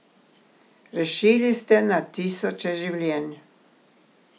Rešili ste na tisoče življenj.